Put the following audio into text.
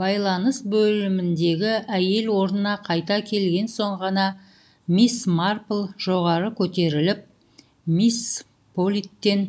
байланыс бөліміндегі әйел орнына қайта келген соң ғана мисс марпл жоғары көтеріліп мисс политтен